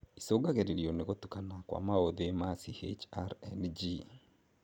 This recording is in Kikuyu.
icũngagĩrĩrio nĩ gũtukana kwa maũthĩ ma CHRNG